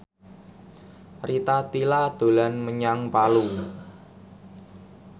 Rita Tila dolan menyang Palu